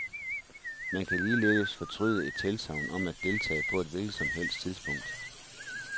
Man kan ligeledes fortryde et tilsagn om at deltage på et hvilket som helst tidspunkt.